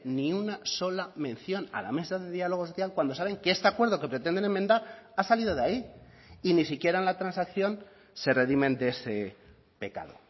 ni una sola mención a la mesa de diálogo social cuando saben que este acuerdo que pretenden enmendar ha salido de ahí y ni siquiera en la transacción se redimen de ese pecado